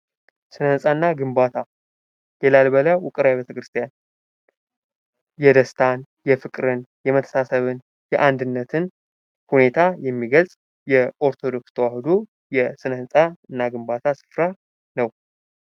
ስነህንጻ እና ግንባታው የላሊበላ ውቅር አብያተ ክርስቲያናት የደስታ፣ የፍቅርና የመተሳሰብ እንጂ አንድነትን ሁኔታ የሚገልጽ የኦርቶዶክስ ተዋህዶ የሥነ ህንፃ እና ግንባታ ስፍራ ነው።